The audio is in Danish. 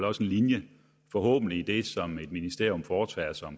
også en linje forhåbentlig i det som et ministerium foretager sig